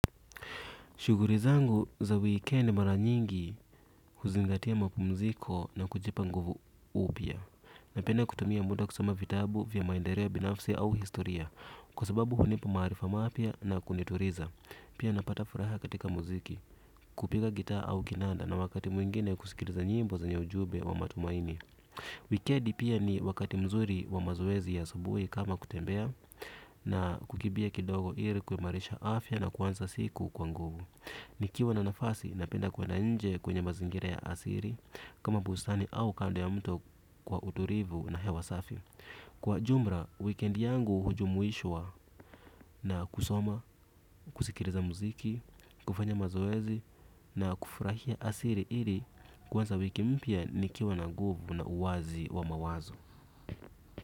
Shughuli zangu za wikendi mara nyingi huzingatia mapumziko na kujipa nguvu upya. Napenda kutumia muda kusoma vitabu vya maendeleo binafsi au historia. Kwa sababu hunipa maarifa mapya na kunituliza. Pia napata furaha katika muziki, kupiga gitaa au kinanda na wakati mwingine kusikiliza nyimbo zenye ujumbe wa matumaini. Wikendi pia ni wakati mzuri wa mazoezi ya asubuhi kama kutembea. Na kukimbia kidogo ili kuimarisha afya na kuanza siku kwa nguvu. Nikiwa na nafasi napenda kwenda nje kwenye mazingira ya asili. Kama bustani au kando ya mto kwa utulivu na hewa safi. Kwa jumla, wikendi yangu hujumuishwa na kusoma, kusikiliza muziki, kufanya mazoezi na kufurahia asili ili kuanza wiki mpya nikiwa na nguvu na uwazi wa mawazo.